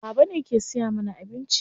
Baba ne ke siya mana abinci.